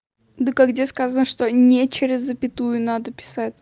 дак а где сказано что не через запятую надо писать